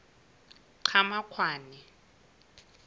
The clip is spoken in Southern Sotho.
qhamakwane